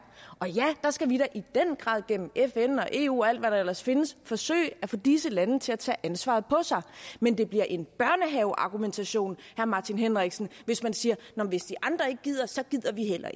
og ja der skal vi da i den grad gennem fn og eu og alt hvad der ellers findes forsøge at få disse lande til at tage ansvaret på sig men det bliver en børnehaveargumentation herre martin henriksen hvis man siger hvis de andre ikke gider så gider vi heller